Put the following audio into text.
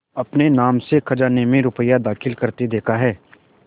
अपने नाम से खजाने में रुपया दाखिल करते देखा है